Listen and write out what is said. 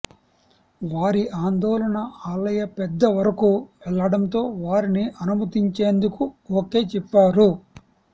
వారి ఆందోళన ఆలయ పెద్ద వరకు వెళ్లడంతో వారిని అనుమతించేందుకు ఓకే చెప్పారు